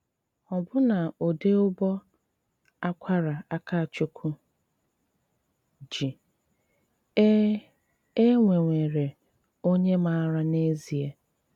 Ọbụ́ná údị́ ụbọ́ ákwará Ákachụ́kwú jí, é é nwéwéré ónyé máárá n’ezié.